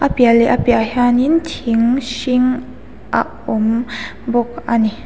piah leh a piah ah hian in ting hring a awm bawk a ni.